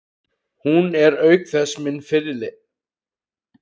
Hún er auk þess minn fyrirliði.